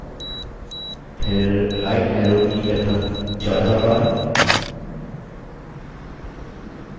फिर right arrow की लगभग 14 बार